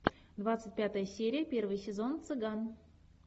двадцать пятая серия первый сезон цыган